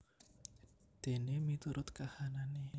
Dene miturut kahanane